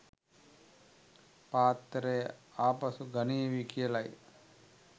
පාත්‍රය ආපසු ගනීවි කියලයි.